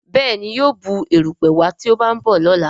Béèni yíò Bù erùpẹ̀ wá tí o ba nbọ lọla.